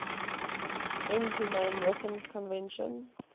inhumane weapons convention